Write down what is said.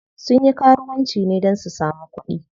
Sun yi karuwanci ne don su samu kuɗi.